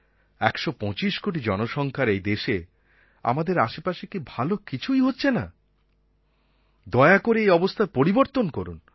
১২৫ কোটি জনসংখ্যার এই দেশে আমাদের আশেপাশে কি ভালো কিছুই হচ্ছে না দয়া করে এই অবস্থার পরিবর্তন করুন